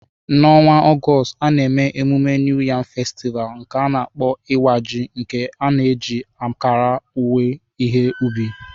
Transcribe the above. N'ọnwa Ọgọst, a na-eme mmemme New Yam Festival, nke a na-akpọ Iwa Ji, nke na-eji akara owuwe ihe ubi.